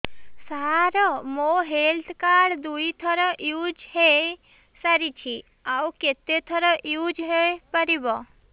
ସାର ମୋ health card ଦୁଇ ଥର ୟୁଜ଼ ହୈ ସାରିଛି ଆଉ କେତେ ଥର ୟୁଜ଼ ହୈ ପାରିବ